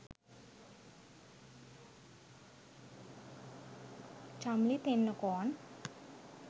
chamli tennakoon